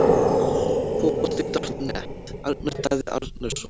Fótbolti.net- Arnar Daði Arnarsson